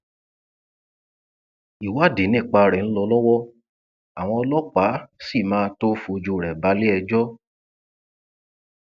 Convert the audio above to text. ìwádì nípa rẹ ń lọ lọwọ àwọn ọlọpàá sì máa tóó fojú rẹ balẹẹjọ